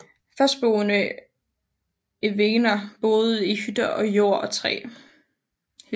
Fastboende evener boede i hytter af jord og træ